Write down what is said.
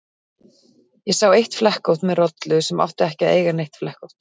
Ég sá eitt flekkótt með rollu sem átti ekki að eiga neitt flekkótt.